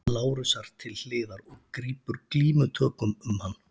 Lárusar til hliðar og grípur glímutökum um hann.